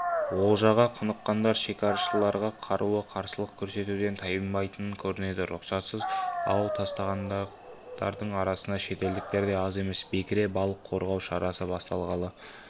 олжаға құныққандар шекарашыларға қарулы қарсылық көрсетуден тайынбайтын көрінеді рұқсатсыз ау тастағандардың арасында шетелдіктер де аз емес бекіре балық қорғау шарасы басталғалы